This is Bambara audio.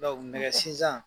nɛgɛ sizan